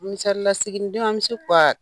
Misali la siginidenw an bɛ se